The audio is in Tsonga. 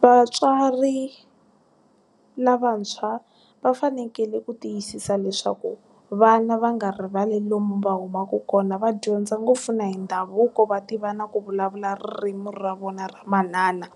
Vatswari, lavantshwa va fanekele ku tiyisisa leswaku vana va nga rivali lomu va humaka kona va dyondza ngopfu na hi ndhavuko va tiva na ku vulavula ririmi ra vona ra manana,